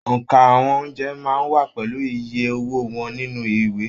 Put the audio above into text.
óńka àwọn oúnjẹ máa n wà pẹlú ìyè owó wọn nínú ìwé.